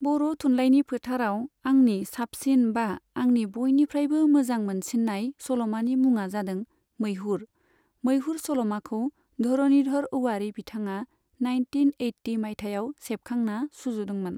बर' थुनलाइनि फोथाराव आंनि साबसिन बा आंनि बयनिफ्रायबो मोजां मोनसिन्नाय सल'मानि मुङा जादों मैहुर, मैहुर सल'माखौ धरनिधर औवारि बिथाङा नाइनटिन ओइटि मायथाइयाव सेबखांना सुजुदोंमोन।